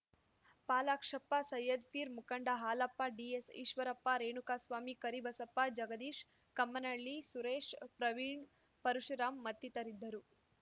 ಪಾಲಾಕ್ಷಪ್ಪ ಸೈಯದ್‌ಪೀರ್ ಮುಖಂಡ ಹಾಲಪ್ಪ ಡಿಎಸ್‌ಈಶ್ವರಪ್ಪ ರೇಣುಕಸ್ವಾಮಿ ಕರಿಬಸಪ್ಪ ಜಗದೀಶ್‌ ಕಮ್ಮನಹಳ್ಳಿ ಸುರೇಶ್‌ ಪ್ರವೀಣ್ ಪರಶುರಾಮ್ ಮತ್ತಿತರರಿದ್ದರು